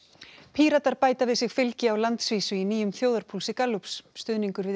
Píratar bæta við sig fylgi á landsvísu í nýjum þjóðarpúlsi Gallups stuðningur við